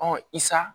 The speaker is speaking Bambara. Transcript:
Ɔ isan